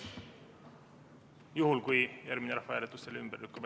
Juhul kui järgmine rahvahääletus selle ümber lükkab.